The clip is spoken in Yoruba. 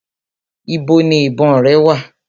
Ibo ni ìbọn rẹ wà?